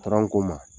ko ma